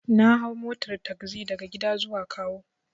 Na hau motar tagzi daga gida zuwa kawo.